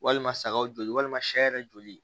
Walima sagaw joli walima sɛ yɛrɛ joli